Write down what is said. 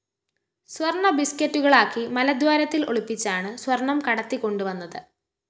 സ്വര്‍ണ ബിസ്‌ക്കറ്റുകളാക്കി മലദ്വാരത്തില്‍ ഒളിപ്പിച്ചാണ് സ്വര്‍ണം കടത്തികൊണ്ടുവന്നത്